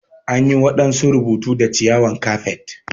An yi wadansu rubutu da ciyawan kafet.